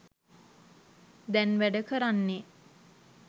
දැන් වැඩ කරන්නේ.